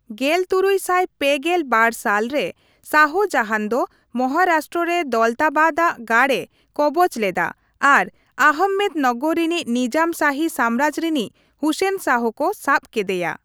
ᱜᱮᱞ ᱛᱩᱨᱩᱭ ᱥᱟᱭ ᱯᱮᱜᱮᱞ ᱵᱟᱨ ᱥᱟᱞ ᱨᱮ, ᱥᱟᱦᱡᱟᱦᱟᱱ ᱫᱚ ᱢᱚᱦᱟᱨᱟᱥᱴᱨᱚ ᱨᱮ ᱫᱚᱞᱛᱟᱵᱟᱫ ᱟᱜ ᱜᱟᱲ ᱮ ᱠᱚᱵᱚᱡ ᱞᱮᱫᱟ ᱟᱨ ᱟᱦᱚᱢᱢᱮᱫᱱᱚᱜᱚᱨ ᱨᱤᱱᱤᱡ ᱱᱤᱡᱟᱢ ᱥᱟᱦᱤ ᱥᱟᱢᱨᱟᱡᱽ ᱨᱤᱱᱤᱡ ᱦᱩᱥᱮᱱ ᱥᱟᱦ ᱠᱚ ᱥᱟᱵ ᱠᱮᱫᱮᱭᱟ ᱾